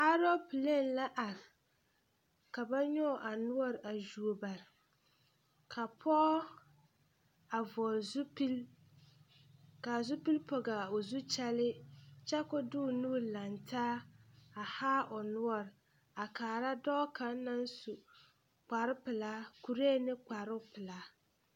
Pɔɡe kaŋa la a are a yɛre bonsɔɡelɔ a bɔɡele zupilisɔɡelɔ a derɛ mansen kaŋa a mana wulo dɔbɔ mine naŋ are a dɔbɔ arɛɛ ka mine de ba nuuri tuɡi ba kɔrɔ poɔ.